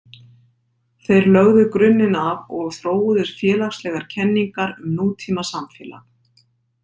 Þeir lögðu grunninn af og þróuðu félagslegar kenningar um nútíma samfélag.